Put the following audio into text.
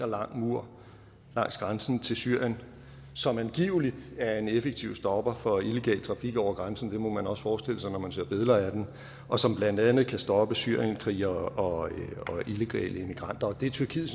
lang mur langs grænsen til syrien som angiveligt er en effektiv stopper for illegal trafik over grænsen det må man også forestille sig når man ser billeder af den og som blandt andet kan stoppe syrienskrigere og illegale immigranter det er tyrkiet